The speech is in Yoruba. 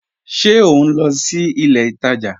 Ṣe o nlọ sí ilẹ̀ ìtaja?